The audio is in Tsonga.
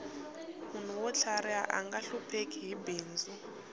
munhu wo tlhariha anga hlupheki hi bindzu